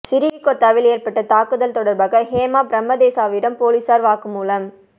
சிறிகொத்தவில் ஏற்பட்ட தாக்குதல் தொடர்பாக ஹேமா பிரேமதாசவிடம் பொலிஸார் வாக்கு மூலம்